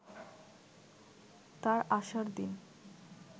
তার আসার দিন